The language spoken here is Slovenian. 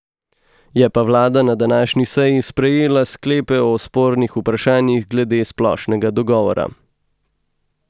Je pa vlada na današnji seji sprejela sklepe o spornih vprašanjih glede splošnega dogovora.